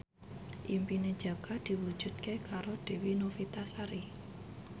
impine Jaka diwujudke karo Dewi Novitasari